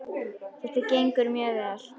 Þetta gengur mjög vel.